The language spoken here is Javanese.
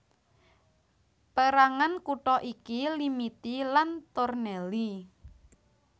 Pérangan kutha iki Limiti lan Tornelli